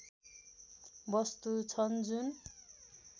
वस्तु छन् जुन